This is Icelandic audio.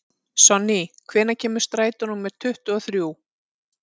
Sonný, hvenær kemur strætó númer tuttugu og þrjú?